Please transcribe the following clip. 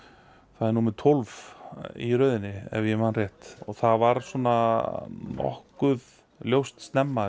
það er númer tólf í röðinni ef ég man rétt það var svona nokkuð ljóst snemma